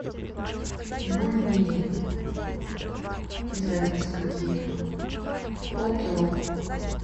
бульмени без разницы какие полкило